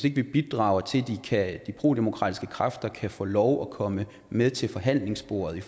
ikke bidrager til at de prodemokratiske kræfter kan få lov at komme med til forhandlingsbordet